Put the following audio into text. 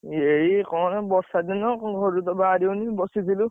ଏଇ କଣ ବର୍ଷା ଦିନ ଘରୁତ ବାହାରି ହଉନି, ବସିଥିଲୁ।